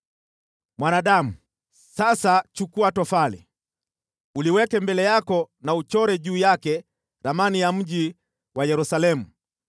“Mwanadamu, sasa chukua tofali, uliweke mbele yako na uchore juu yake ramani ya mji wa Yerusalemu.